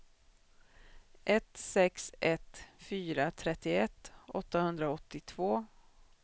ett sex ett fyra trettioett åttahundraåttiotvå